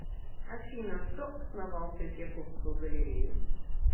афина кто основал третьяковскую галлерею